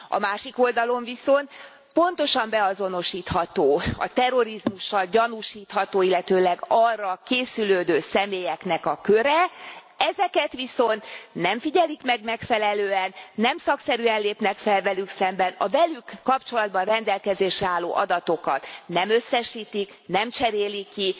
A másik oldalon viszont pontosan beazonosítható a terrorizmussal gyanúsítható, illetőleg arra készülődő személyeknek a köre, ezeket viszont nem figyelik meg megfelelően, nem szakszerűen lépnek fel velük szemben. A velük kapcsolatban rendelkezésre álló adatokat nem összesítik, nem cserélik ki.